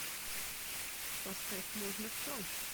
поставь можно все